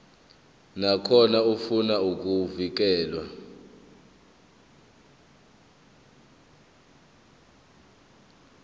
nakhona ofuna ukwamukelwa